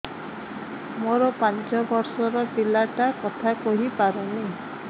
ମୋର ପାଞ୍ଚ ଵର୍ଷ ର ପିଲା ଟା କଥା କହି ପାରୁନି